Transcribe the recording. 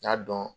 N y'a dɔn